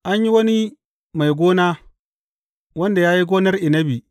An yi wani mai gona wanda ya yi gonar inabi.